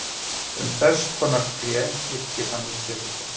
Um þess konar tré yrkir Hannes Pétursson: